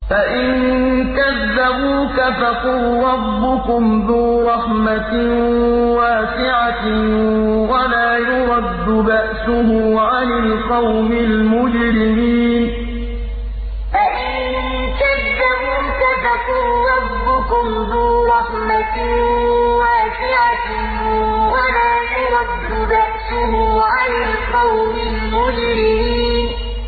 فَإِن كَذَّبُوكَ فَقُل رَّبُّكُمْ ذُو رَحْمَةٍ وَاسِعَةٍ وَلَا يُرَدُّ بَأْسُهُ عَنِ الْقَوْمِ الْمُجْرِمِينَ فَإِن كَذَّبُوكَ فَقُل رَّبُّكُمْ ذُو رَحْمَةٍ وَاسِعَةٍ وَلَا يُرَدُّ بَأْسُهُ عَنِ الْقَوْمِ الْمُجْرِمِينَ